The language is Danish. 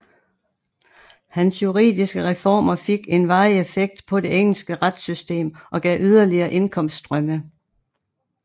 Hans juridiske reformer fik en varig effekt på det engelske retssystem og gav yderligere indkomststrømme